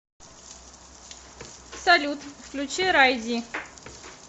салют включи рай ди